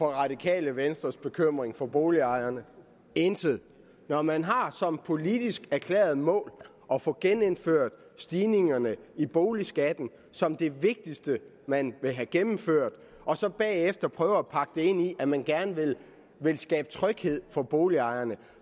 radikale venstres bekymring for boligejerne intet når man har som politisk erklæret mål at få genindført stigningerne i boligskatten som det vigtigste man vil have gennemført og så bagefter prøver at pakke det ind i at man gerne vil skabe tryghed for boligejerne